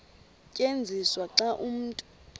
tyenziswa xa umntu